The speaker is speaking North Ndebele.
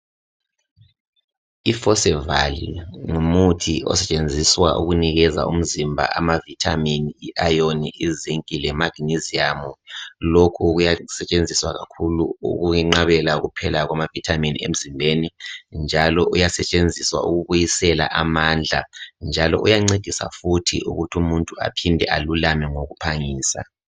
o forceval ngumuthi osetshenziswa ukunikeza umzimba ama vitamin i iron zinc le magnesium lkhu kuyasetshenziswa kakhulu ukwenqabela kuphela kwama vitamin emzimbeni njalo uyasetshenziswa ukubuyisela amandla njalo uyancedisa futhi ukuthi umuntu aphinde alulame ngokuphangisa